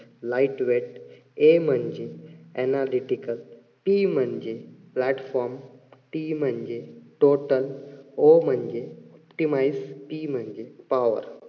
light weight A म्हणजे analytical P म्हणजे platform T म्हणजे total O म्हणजे optimize P म्हणजे power